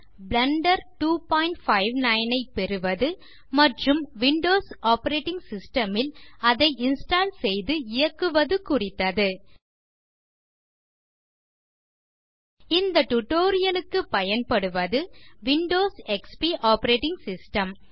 Blender ஐ பெறுவது மற்றும் விண்டோஸ் ஆப்பரேட்டிங் சிஸ்டம் ல் அதை இன்ஸ்டால் செய்து இயக்குவது குறித்தது இந்த டியூட்டோரியல் க்கு பயன்படுவது விண்டோஸ் எக்ஸ்பி ஆப்பரேட்டிங் சிஸ்டம்